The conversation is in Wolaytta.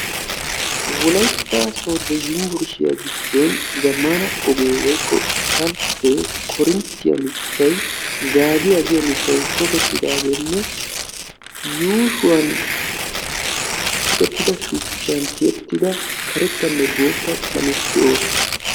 Wolaytta sooddo umburshiya giddoni zammaana ogee woykko isppalttee, korinttiya mittay zaagiya giyo mittay tokkettidaagenne yuushuwaani tokkettida shuchchan tiyettida karettanne boottaa qalameti de"oosona.